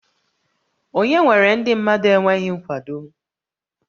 Onye nwere ndị mmadụ enweghị nkwado?